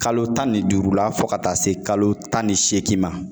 Kalo tan ni duuru la fɔ ka taa se kalo tan ni seegin ma